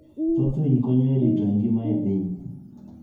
Thoth winy konyo e rito ngima e piny.